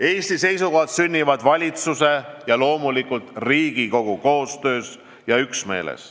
Eesti seisukohad sünnivad valitsuse ja loomulikult Riigikogu koostöös.